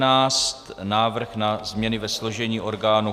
Návrh na změny ve složení orgánů